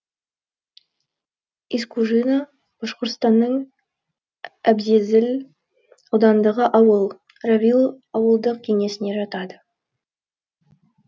искужино башқұртстанның әбзезил ауданындағы ауыл равил ауылдық кеңесіне жатады